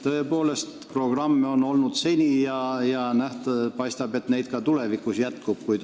Tõepoolest, programme on seni olnud ja paistab, et neid jätkub ka tulevikus.